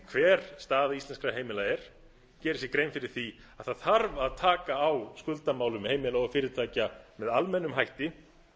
hver staða íslenskra heimila er geri sér grein fyrir því að það þarf að taka á skuldamálum heimila og fyrirtækja með almennum hætti